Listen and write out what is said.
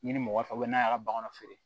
Ɲinini mɔgɔ fɛ n'a y'a ka bagan feere